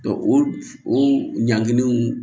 o ɲangininw